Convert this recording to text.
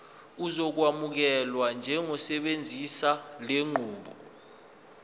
uzokwamukelwa njengosebenzisa lenqubo